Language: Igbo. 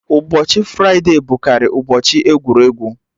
Ụbọchị fride bụ karị ụbọchị egwuregwu